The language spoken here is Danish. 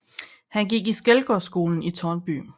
Han gik i Skelgårdsskolen i Tårnby